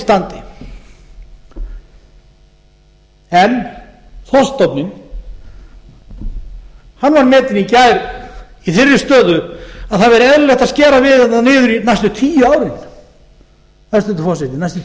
ágætis standi en þorskstofninn hann var metinn í gær í þeirri stöðu að það væri eðlilegt að skera verulega niður næstu tíu árin hæstvirtur forseti næstu